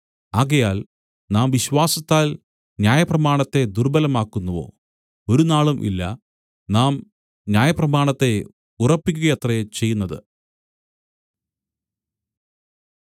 ആകയാൽ നാം വിശ്വാസത്താൽ ന്യായപ്രമാണത്തെ ദുർബ്ബലമാക്കുന്നുവോ ഒരുനാളും ഇല്ല നാം ന്യായപ്രമാണത്തെ ഉറപ്പിക്കുകയത്രേ ചെയ്യുന്നത്